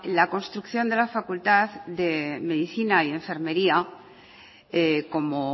la construcción de la facultad de medicina y enfermería como